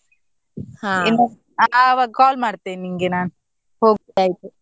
ಆವಾಗ call ಮಾಡ್ತೇನೆ ನಿಂಗೆ ನಾನು .